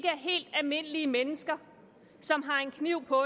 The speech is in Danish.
helt almindelige mennesker som har en kniv på